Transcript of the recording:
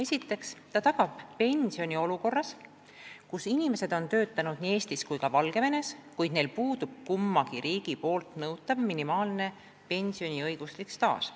Esiteks see tagab pensioni olukorras, kus inimesed on töötanud nii Eestis kui ka Valgevenes, kuid neil puudub kummagi riigi nõutav minimaalne pensioniõiguslik staaž.